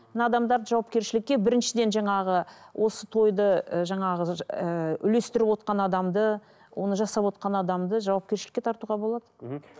мына адамдарды жауапкершілікке біріншіден жаңағы осы тойды ы жаңағы ыыы үлестіріп отырған адамды оны жасап отырған адамды жауапкершілікке тартуға болады мхм